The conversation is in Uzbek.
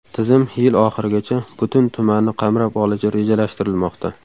Tizim yil oxirigacha butun tumanni qamrab olishi rejalashtirilmoqda.